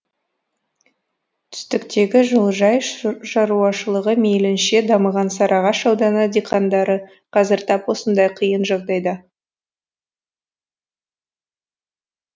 түстіктегі жылыжай шаруашылығы мейілінше дамыған сарыағаш ауданы диқандары қазір тап осындай қиын жағдайда